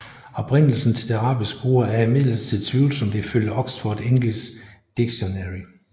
Oprindelsen til det arabiske ord er imidlertid tvivlsomt ifølge Oxford English Dictionary